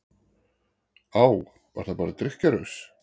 Á, var það bara drykkjuraus?